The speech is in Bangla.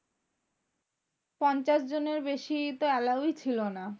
পঞ্চাশ জনের বেশি তো allow ই ছিল না।